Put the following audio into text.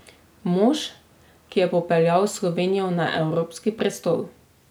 Mož, ki je popeljal Slovenijo na evropski prestol.